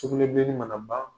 Sugunɛbilenni mana ban